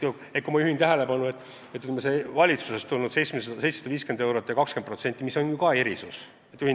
Ma juhin tähelepanu, et valitsusest tulnud ettepanek, mis nägi ette 750 eurot ja 20%, on ju ka erisus.